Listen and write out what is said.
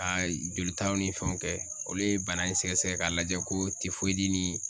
Ka jolitaw ni fɛnw kɛ olu ye bana in sɛgɛsɛgɛ k'a lajɛ ko ni